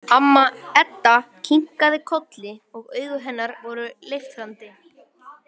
Amma Edda kinkaði kolli og augu hennar voru leiftrandi.